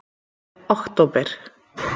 október